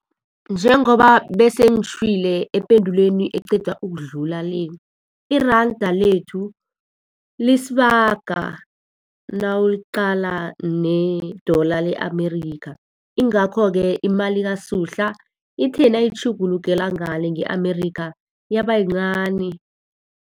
Njengoba bese ngitjhwile ependulweni eqeda ukudlula le, iranda lethu lisibaga nawuliqala ne-dollar le-America. Yingakho-ke imali kaSuhla ithe nayitjhugulukela ngale nge-America, yaba yincani.